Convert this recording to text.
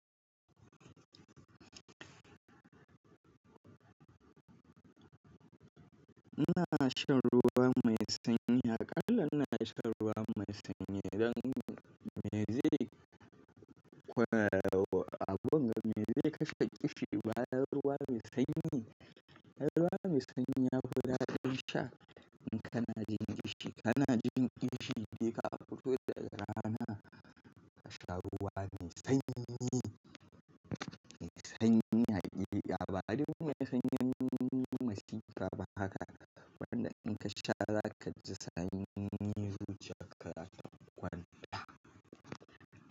Ina shan ruwa mai sanyi, hakala ina sha ruwa mai sanyi idan me zai kwarewa, abin da me zai kashe ƙishi baya ruwa mai sanyi. Ruwa mai sanyi ya fi dadin sha in kana jin ƙishi, kana jin ƙishi je ka fito daga rana ka sha ruwa mai sanyi, mai sanyi ake. Ya ba duka mai sanyi matsi ka ba haka? Wanda in ka sha za kaji sanyi zuciyar ka za ta kwanta.